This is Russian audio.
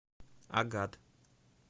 агат